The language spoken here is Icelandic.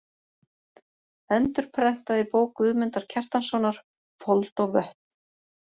Endurprentað í bók Guðmundar Kjartanssonar: Fold og vötn.